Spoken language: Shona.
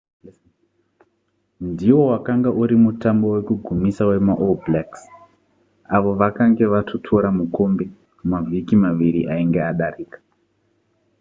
ndiwo wakanga uri mutambo wekugumisa wemaall blacks avo vakange vatotora mukombe mavhiki maviri ainge adarika